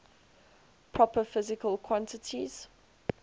proper physical quantities